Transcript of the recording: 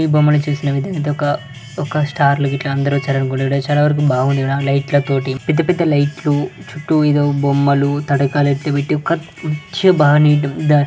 ఈ బొమ్మని చూసిన విధంగా అయితే ఒక ఒక స్టార్ లు గిట్ల అందరూ వచ్చారు అనుకుంటుంటే చాలా వరకు బాగుంది ఈడ లైట్ ల తోటి పెద్ద పెద్ద లైట్ లు చుట్టూ ఏదో బొమ్మలు తడకలు ఎత్తి పెట్టి